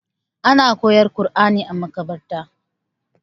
ana koyar Qurani a makabarta